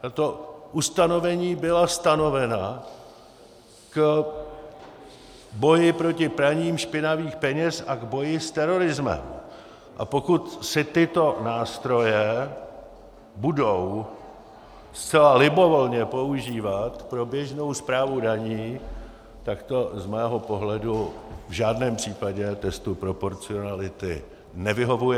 Tato ustanovení byla stanovena k boji proti praní špinavých peněz a k boji s terorismem, a pokud se tyto nástroje budou zcela libovolně používat pro běžnou správu daní, tak to z mého pohledu v žádném případě testu proporcionality nevyhovuje.